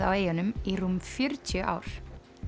á eyjunum í rúm fjörutíu ár